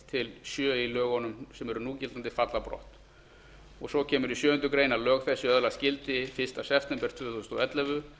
til sjö í núgildandi lögum falli brott svo kemur í sjöundu grein að lög þessi öðlist gildi fyrsta september tvö þúsund og ellefu